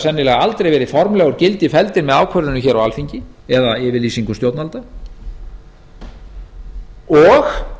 sennilega aldrei verið formlega felldir úr gildi með ákvörðunum hér á alþingi eða yfirlýsingum stjórnvalda á